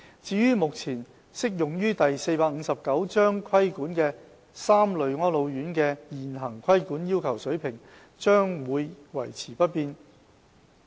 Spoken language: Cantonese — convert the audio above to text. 至於目前適用於受第459章規管的3類安老院的現行規管要求水平，將會維持不變。